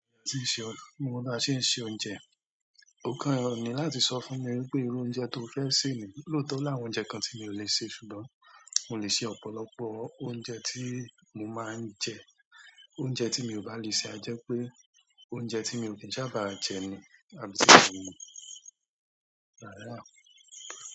Mo mọ̀ bí a ṣe ń se oúnjẹ. Ó kan ni láti sọ fún mi wipé irú oúnjẹ tó fẹ́ sè ni. Lóòótọ́ o láwọn oúnjẹ kan tí mi ò lè sè, ṣùgbọ́n mo lè ṣe ọ̀pọ̀lọpọ̀ oúnjẹ tí mo máa ń jẹ. Oúnjẹ tí mi ò bá lè sè a jẹ́ pé oúnjẹ tí mi ò kí ń sábà jẹ ni, àbí tí kò ní pẹ́.